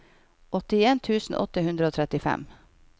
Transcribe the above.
åttien tusen åtte hundre og trettifem